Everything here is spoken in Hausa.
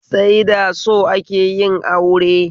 Sai da so akeyin aure